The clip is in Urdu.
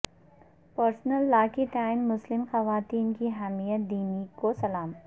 پرسنل لا کے تئیں مسلم خواتین کی حمیت دینی کو سلام